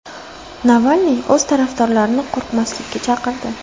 Navalniy o‘z tarafdorlarini qo‘rqmaslikka chaqirdi.